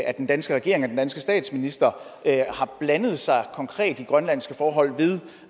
at den danske regering og den danske statsminister har blandet sig konkret i grønlandske forhold ved